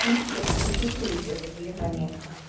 в принципе это существующее заболевание